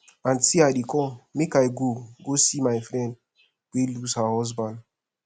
aunty i dey come make i go go see my friend wey lose her husband